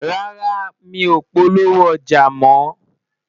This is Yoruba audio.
rárá, mí ọ polówó ọja mọ